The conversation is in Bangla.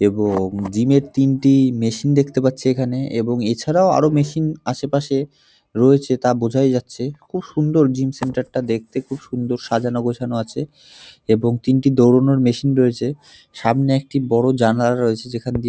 এবং জিম এর তিনটি মেশিন দেখতে পাচ্ছি এখানে এবং এছাড়াও আরও মেশিন আশেপাশে রয়েছে তা বোঝাই যাচ্ছে। খুব সুন্দর জিম সেন্টার টা দেখতে খুব সুন্দর সাজানো গোছান আছে এবং তিনটি দৌড়ানোর মেশিন রয়েছে। সামনে একটি বড় জানালা রয়েছে যেখান দিয়ে--